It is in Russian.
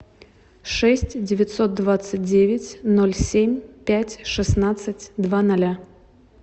шесть девятьсот двадцать девять ноль семь пять шестнадцать два ноля